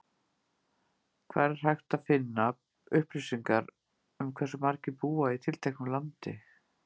Hvar er hægt að finna upplýsingar um hversu margir búa í tilteknu landi?